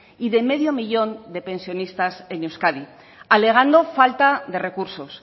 y de medio millón de pensionistas en euskad alegando falta de recursos